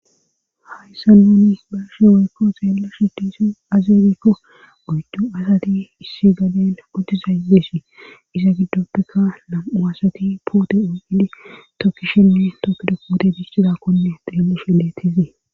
Hayssa nuni barsheoykko zeela shidisi azebekko oycu asati issi gaden qotizaayeesii iza giddoppeka lam7u asati poote oyidi tookishenne tookido puote bictizakkunne xeelishe detesee